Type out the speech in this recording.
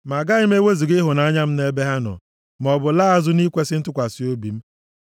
ma agaghị m ewezuga ịhụnanya m, nʼebe ha nọ. Ma ọ bụ laa azụ nʼikwesị ntụkwasị obi m.